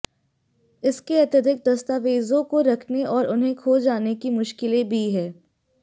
इसके अतिरिक्त दस्तावेजों को रखने और उन्हें खो जाने की मुश्किलें भी हैं